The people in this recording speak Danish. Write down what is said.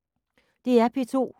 DR P2